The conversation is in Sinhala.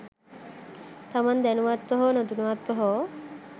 තමන් දැනුවත්ව හෝ නොදැනුවත්ව හෝ